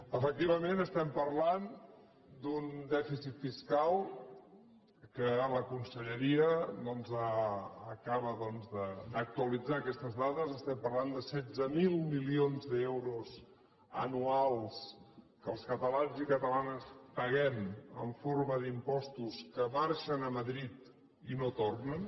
efectivament parlem d’un dèficit fiscal la conselle·ria acaba d’actualitzar aquestes dades de setze mil mili·ons d’euros anuals que els catalans i catalanes paguem en forma d’impostos que marxen a madrid i no tornen